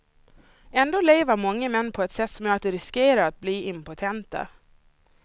Ändå lever många män på ett sätt som gör att de riskerar att bli impotenta.